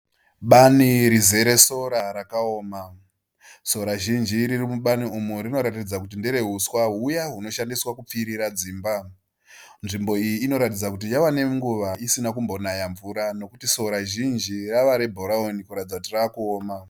Bani rizere sora rakaoma. Sora zhinji riri mu bani umu rinoratidza kuti ndere huswa huya hunoshandiswa kupfirira dzimba. Nzvimbo iyi inoratidza kuti yava nenguva isina kumbonaya mvura nekuti sora zhinji rava re bhurauni kuratidza kuti rava kuoma.